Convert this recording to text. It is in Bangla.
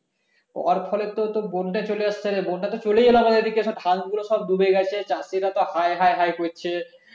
এর ফলে তো বন্যা চলে আসতে পারে বন্যা তো চলেই এলো আবার এইদিকে সব ধান গুলো সব ডুবে গেছে চাষীরা তো হায় হায় হায় করছে